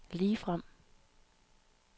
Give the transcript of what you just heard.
ligefrem